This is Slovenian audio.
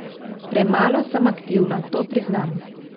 Premalo sem aktivna, to priznam.